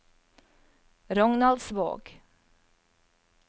Rognaldsvåg